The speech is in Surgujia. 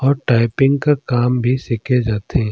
और टाइपिंग का काम भी सीखे जाथे।